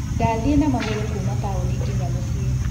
Ndathiĩ na magũrũ kuuma taũni nginya mũciĩ.